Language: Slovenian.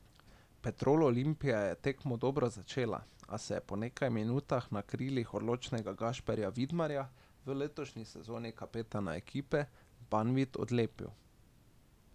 Petrol Olimpija je tekmo dobro začela, a se je po nekaj minutah na krilih odličnega Gašperja Vidmarja, v letošnji sezoni kapetana ekipe, Banvit odlepil.